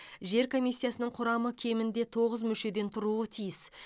жер комиисиясының құрамы кемінде тоғыз мүшеден тұруы тиіс